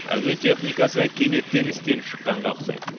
әуе техникасы кенеттен істен шыққанға ұқсайды